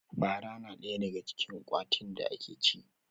Fara na ɗaya daga cikin ƙwatin da ake ci